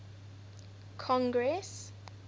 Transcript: congress